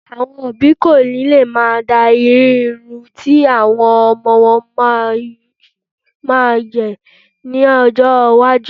Àọn òbí kò ní lè máa darí irú irun tí àwọn ọmọ wọn yóò máa gẹ̀ ní ọjọ́-iwájú.